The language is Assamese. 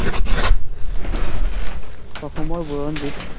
অসমৰ বুৰঞ্জীত